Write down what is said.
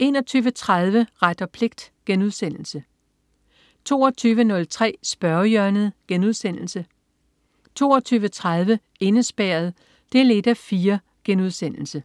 Ret og pligt* 22.03 Spørgehjørnet* 22.30 Indespærret 1:4*